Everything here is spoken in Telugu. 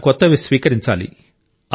మనం కొత్తవి స్వీకరించాలి